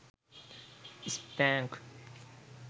spank